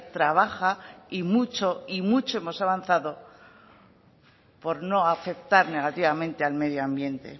trabaja y mucho y mucho hemos avanzado por no afectar negativamente al medio ambiente